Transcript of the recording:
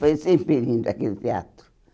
Foi sempre lindo aquele teatro.